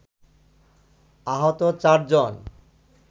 আহত চার জন